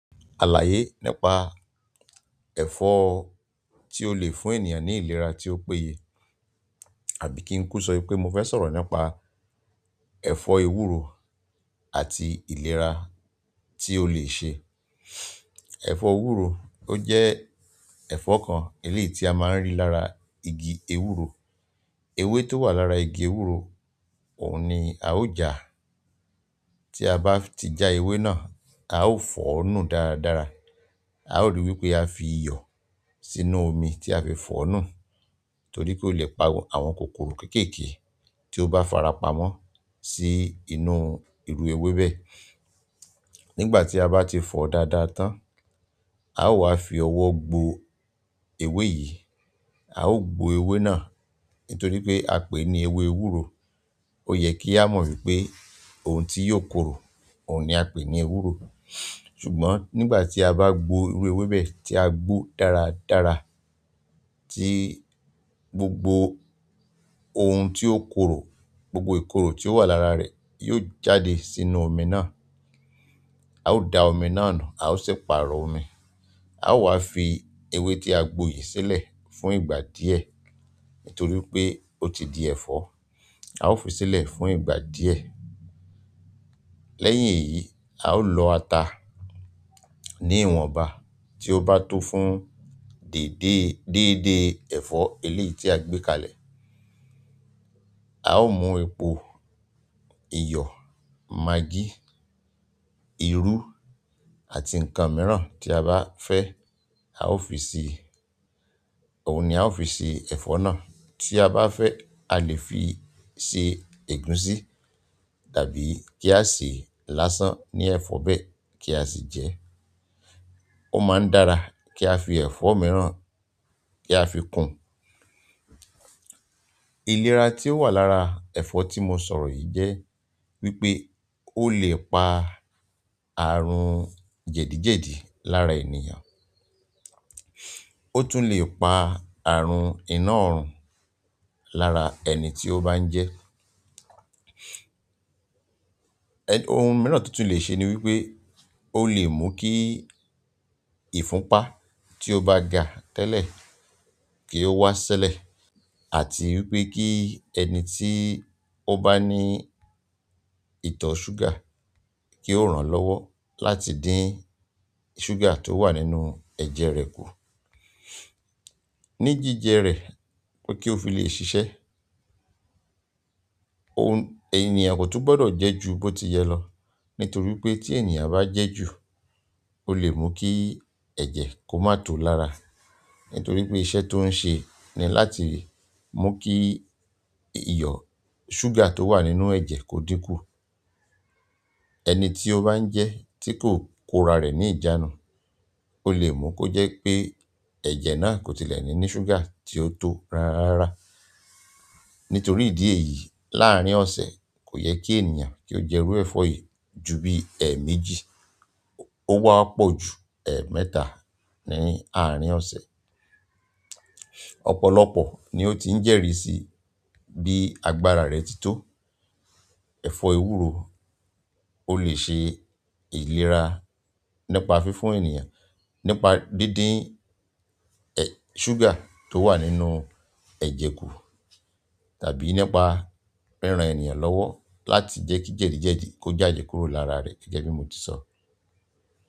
Àlàyé nípa ẹ̀fọ́ tí ó le fún ènìyàn ní ìlera tí ó péye, àbí kí n kú sọ wipé mo fẹ́ sọ̀rọ̀ nípa ẹ̀fọ́ ewúro àti ìlera tí ó lè ṣe. Ẹ̀fọ́ ewúro ó jẹ́ ẹ̀fọ́ kan eléyi tí a máa ń rí lára igi ewúro. Ewé tó wà lára igi ewúro òun ni a ó jà. Tí a bá ti já ewé náà, a ó fọ̀ ọ́ nù dára dára. A ó rí wí pé a fi iyọ̀ sínú omi tí a fi fọ̀ ọ́ nù torí ki ó lè pa àwọn kòkòrò kéékèèké tí ó bá farapa mọ́ sí inú irú ewé bẹ́ẹ̀. Nígbà tí a bá ti fọ̀ ọ́ dáadáa tán, a ó wá fi ọwọ́ gbo ewé yìí, a ó gbo ewé náà nítorí pé a pè é ní ewé ewúro. Ó yẹ kí a mọ̀ wípé ohun tí yóò korò òun ni a ń pè ní ewúro. Ṣùgbọ́n nígbà tí a bá gbo irú ewé bẹ́ẹ̀ tí a gbó dára dára tí gbogbo ohun tí ó korò, gbogbo ìkorò tí ó wà lára rẹ̀ yóò jáde sínú omi náà. A ó da omi náà nù, a ó sì pàrọ̀ omi. A ó wá fi ewé tí a gbo yìí sílẹ̀ fún ìgbà díẹ̀ nítorí pé ó ti di ẹ̀fọ́. A ó fi sílẹ̀ fún ìgbà díẹ̀. Lẹ́yìn èyí, a ó lọ ata ní ìwọ̀nba tí ó bá tó fún dèédé, dèédé ẹ̀fọ́ eléyi tí a gbé kalẹ̀. A ó mú epo, iyọ̀, magí, irú àti nǹkan mìíràn tí a bá fẹ́ a ó fi ṣe, òun ni a ó fi ṣe ẹ̀fọ́ náà. Ti a ba fe alẹ́ fi se egunsi tàbí ki a se lásán ni ẹ̀fọ́ be ki a si je. Ó máa ń dára kí á fi ẹ̀fọ́ mìíràn kí á fi kún. Ìlera tí ó wà lára ẹ̀fọ́ tí mo sọ̀rọ̀ yìí jẹ́ wípé ó lè pa àrùn jẹ̀díjẹ̀dí lára ènìyàn. Ọ̀tún le pa àrùn inaorun lára ẹni tio ba n je. Ohun mìíràn tó tún lè ṣe ni wípé ó lè mú kí ìfunpá tí ó bá ga tẹ́lẹ̀ kí ó wá ṣẹ́lẹ̀ àti wípé kí ẹni tí ó bá ní ìtọ̀ ṣúgà kí ó ràn lọ́wọ́ láti dín ṣúgà tó wà nínú ẹ̀jẹ̀ rẹ̀ kù ní jíjẹ rẹ̀ pé kí ó fi lè ṣiṣẹ́. Ohun, ènìyàn kò tún gbọdọ̀ jẹ́ ju bó ti yẹ lọ nítorí pé tí ènìyàn bá jẹ́ jù ó lè mú kí ẹ̀jẹ̀ kó má tó lára nítorí pé iṣẹ́ tó ń ṣe ni láti mú kí iyọ̀ ṣúgà tó wà nínú ẹ̀jẹ̀ kó dín kù. Ẹni ti o ban je tiko korare ni ijanu ó lè mú kó jẹ́ pé ẹ̀jẹ̀ náà kò tilẹ̀ ní ní ṣúgà tí ó tó rara. Nítorí ìdí èyí láàrin ọ̀sẹ̀ kò yẹ kí ènìyàn kí ó jẹ iru ẹ̀fọ́ yìí ju bí ẹ̀méjì ó wá pọ̀ ju ẹ̀mẹ́ta ní àárín ọ̀sẹ̀. Ọ̀pọ̀lọpọ̀ ni ó ti ń jẹ́rìsí bí agbára rẹ̀ ti tó. Ẹ̀fọ́ ewúro ó lè ṣe ìlera nípa fífún ènìyàn nípa díndín, ẹ, ṣúgà tó wà nínú ẹ̀jẹ̀ kù tàbí nípa ríran ènìyàn lọ́wọ́ láti jẹ́ kí jẹ̀díjẹ̀dí kó jáde kúrò lára rẹ̀ gẹ́gẹ́ bí mo ti sọ.